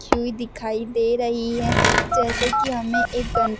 खयुई दिखाई दे रही है जैसे कि हमें एक गण --